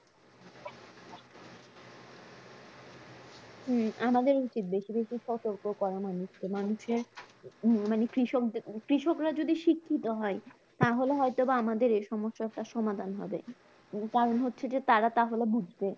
হম আমাদের উচিত বেশি বেশি সতর্ক করা মানুষকে মানুষের আহ মানে কৃষকদের কৃষকরা যদি শিক্ষিত হয় তাহলে হয়তোবা আমাদের এই সমস্যাটা সমাধান হবে, কারণ হচ্ছে যে তারা তাহলে বুঝবে